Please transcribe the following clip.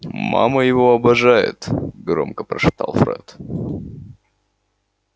мама его обожает громко прошептал фред